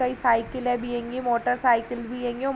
कई साइकिले भी हेगी मोटर साइकिल भी हेगी ।